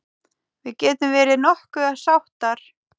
Við getum verið nokkuð sáttar.